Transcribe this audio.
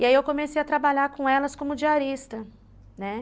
E aí eu comecei a trabalhar com elas como diarista, né?